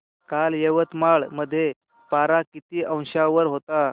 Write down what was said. काल यवतमाळ मध्ये पारा किती अंशावर होता